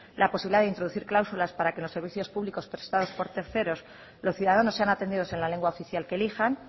la posibilidad de introducir cláusulas para que los servicios públicos prestados por terceros los ciudadanos sean atendidos en la lengua oficial que elijan